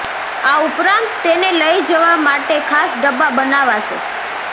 આ ઉપરાંત તેને લઈ જવા માટે ખાસ ડબ્બા બનાવાશે